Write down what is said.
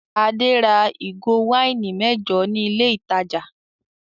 Adé ra ìgò wáìnì mẹ́jọ ní ilé-ìtajà.